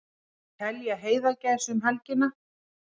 Telja heiðagæs um helgina